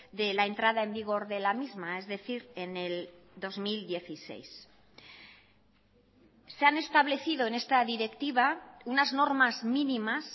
de la entrada en vigor de la misma es decir en el dos mil dieciséis se han establecido en esta directiva unas normas mínimas